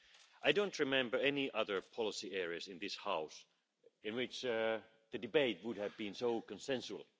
I don't remember any other policy areas in this House in which the debate would have been so consensual.